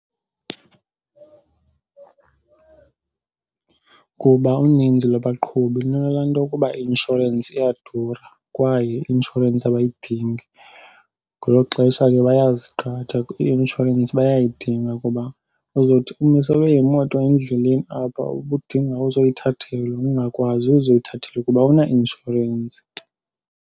Kuba uninzi lwabaqhubi lunalaa nto yukuba i-inshorensi iyadura kwaye i-inshorensi abayidingi. Ngelo xesha ke bayaziqhatha . I-inshorensi bayayidinga kuba uzothi umiselwe yimoto endleleni apha ubudinga ukuzoyithathelwa ungakwazi uzothathelwa kuba awunainshorensi.